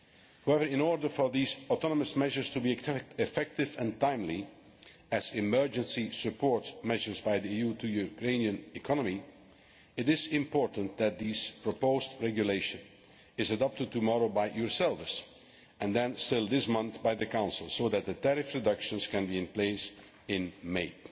However, in order for these autonomous measures to be effective and timely as emergency support measures by the EU for the Ukrainian economy, it is important that this proposed regulation is adopted tomorrow by yourselves and then, still this month, by the Council, so that the tariff reductions can be in place in May.